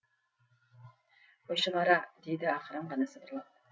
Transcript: қойшығара дейді ақырын ғана сыбырлап